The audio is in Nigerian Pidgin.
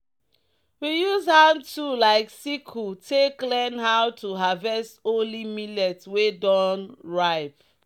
"we use hand tool like sickle take learn how to harvest only millet wey don ripe."